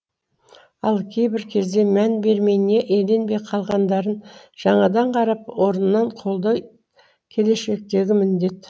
ал кейбір кезде мән берілмей не еленбей қалғандарын жаңадан қарап орнынан қолдай келешектегі міндет